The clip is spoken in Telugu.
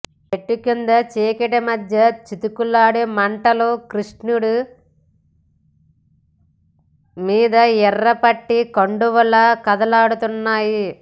చెట్టుకింద చీకటిమధ్య చితుకుల మంటలు కృష్ణుడి మీద ఎర్రపట్టు కండువాలా కదలాడుతున్నాయి